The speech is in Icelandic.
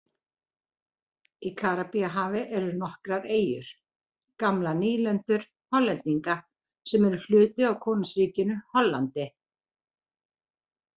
Í Karíbahafi eru nokkrar eyjur, gamlar nýlendur Hollendinga, sem eru hluti af Konungsríkinu Hollandi.